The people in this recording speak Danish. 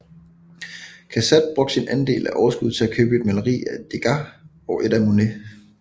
Cassatt brugte sin andel af overskuddet til at købe et maleri af Degas og et af Monet